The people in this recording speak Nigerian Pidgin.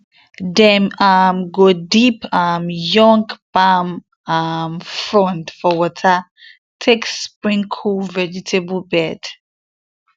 dem um go dip um young palm um frond for water take sprinkle vegetable bed